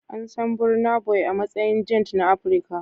An san Burna Boy a matsayin giant na Afirka.